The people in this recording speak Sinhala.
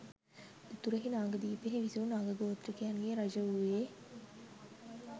උතුරෙහි නාගදීපයෙහි විසු නාග ගෝත්‍රිකයන්ගේ රජු වූයේ